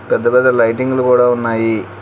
పెద్ద పెద్ద లైటింగ్లు కూడా ఉన్నాయి.